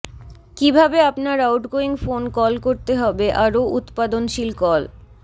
কিভাবে আপনার outgoing phone call করতে হবে আরো উত্পাদনশীল কল